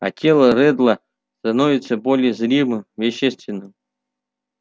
а тело реддла становится более зримым вещественным